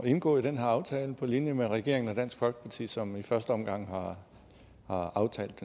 indgå i den her aftale på linje med regeringen og dansk folkeparti som i første omgang har aftalt